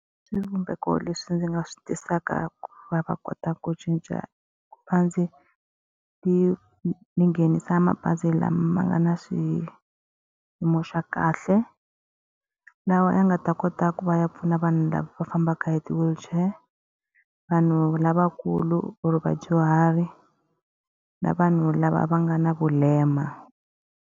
Swivumbeko leswi ndzi nga swi tisaka va kotaka ku cinca ni ni nghenisa mabazi lama nga na xiyimo xa kahle. Lawa ya nga ta kota ku va ya pfuna vanhu lava va fambaka hi ti-wheelchair, vanhu lavakulu or vadyuhari, na vanhu lava va nga na vulema.